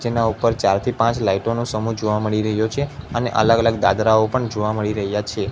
જેના ઉપર ચાર થી પાંચ લાઈટો નુ સમૂહ જોવા મળી રહ્યો છે અને અલગ અલગ દાદરાઓ પણ જોવા મળી રહ્યા છે.